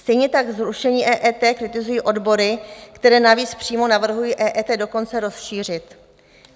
Stejně tak zrušení EET kritizují odbory, které navíc přímo navrhují EET dokonce rozšířit.